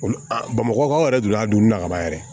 Olu bamakɔ aw yɛrɛ don a donna kaban yɛrɛ